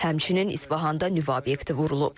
Həmçinin İsfahanda nüvə obyekti vurulub.